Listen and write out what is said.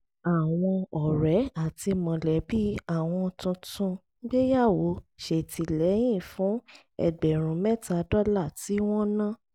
àwọn ọ̀rẹ́ àti mọ̀lẹ́bí àwọn tuntun gbéyàwó ṣètìlẹ́yìn fún ẹgbẹ̀rún mẹ́ta dọ́là tí wọ́n ná